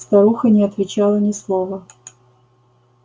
старуха не отвечала ни слова